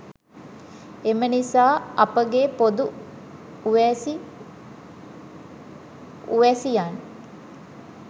එම නිසා අපගේ පොදු උවැසි උවැසියන්